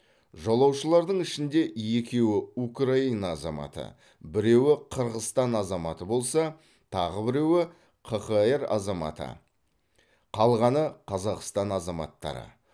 жолаушылардың ішінде екеуі украина азаматы біреуі қырғызстан азаматы болса тағы біреуі қхр азаматы қалғаны қазақстан азаматтары